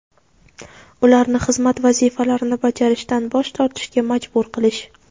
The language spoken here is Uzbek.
ularni xizmat vazifalarini bajarishdan bosh tortishga majbur qilish.